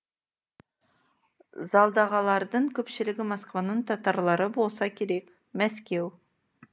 залдағалардың көпшілігі москваның татарлары болса керек мәскеу